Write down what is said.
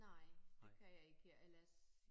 Nej det kan jeg ikke ellers